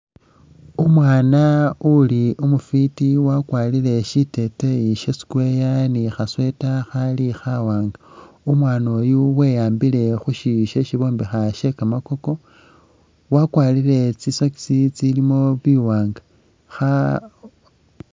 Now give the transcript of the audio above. Umwaana uli umufiti wakwarile shiteteyi sha'square ni kha'sweater Khali khawanga umwana oyu we'ambile khushiyu shesi bombekha she kamakoko wakwarile tsi'sorks tsilimo biwanga kha...